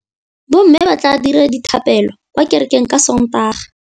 Bommê ba tla dira dithapêlô kwa kerekeng ka Sontaga.